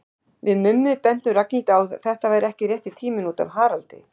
Við Mummi bentum Ragnhildi á að þetta væri ekki rétti tíminn út af Haraldi.